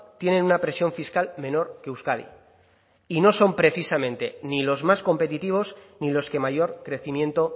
tienen una presión fiscal menor que euskadi y no son precisamente ni los más competitivos ni los que mayor crecimiento